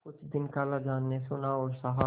कुछ दिन खालाजान ने सुना और सहा